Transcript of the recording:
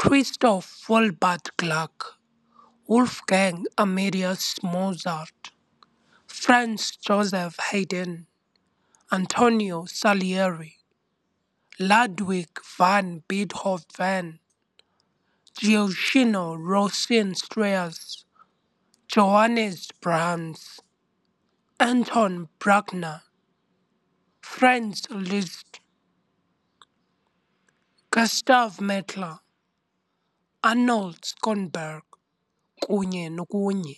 Christoph Willibald Gluck, Wolfgang Amadeus Mozart, Franz Joseph Haydn, Antonio Salieri, Ludwig van Beethoven, Gioachino Rossini Strauss, Johannes Brahms, Anton Bruckner, Franz Liszt, Gustav Mahler, Arnold Schönberg kunye nokunye.